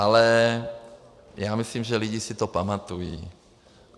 Ale já myslím, že lidi si to pamatují.